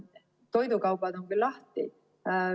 Toidukauplused on küll lahti.